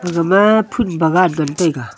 gama phun bagan ngan taiga.